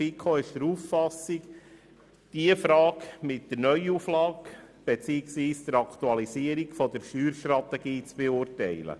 Die FiKo ist der Auffassung, diese Frage sei im Zusammenhang mit der Neuauflage beziehungsweise der Aktualisierung der Steuerstrategie zu beurteilen.